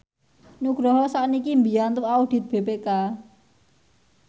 Nugroho sakniki mbiyantu audit BPK